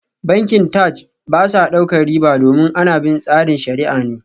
Bankin Taj ba sa daukar riba domin ana bin tsarin shariah ne